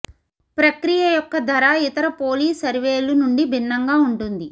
ప్రక్రియ యొక్క ధర ఇతర పోలి సర్వేలు నుండి భిన్నంగా ఉంటుంది